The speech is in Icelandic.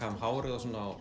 þeim hárið